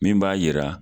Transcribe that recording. Min b'a yira